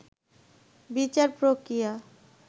বিচার প্রক্রিয়া